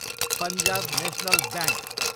Punjab national bank